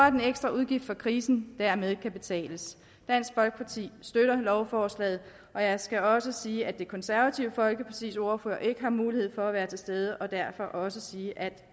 at den ekstra udgift for krisen dermed kan betales dansk folkeparti støtter lovforslaget jeg skal også sige at det konservative folkepartis ordfører ikke har mulighed for at være til stede og derfor også sige at